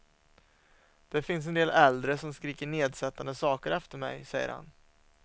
Det finns en del äldre som skriker nedsättande saker efter mig, säger han.